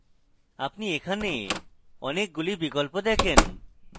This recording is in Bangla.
আপনি এখানে অনেকগুলি বিকল্প দেখেন